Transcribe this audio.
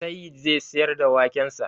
Sayyid zai siyar da wakensa